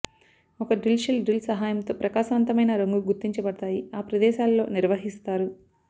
ఒక drill shell drill సహాయంతో ప్రకాశవంతమైన రంగు గుర్తించబడతాయి ఆ ప్రదేశాలలో నిర్వహిస్తారు